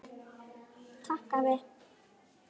Takk afi.